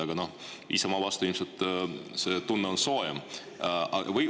Aga Isamaa vastu on ilmselt see tunne soojem.